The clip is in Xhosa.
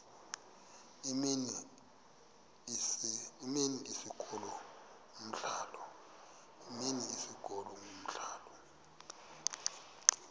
imini isikolo umdlalo